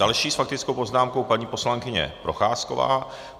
Další s faktickou poznámkou paní poslankyně Procházková.